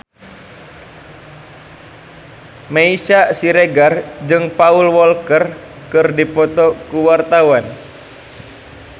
Meisya Siregar jeung Paul Walker keur dipoto ku wartawan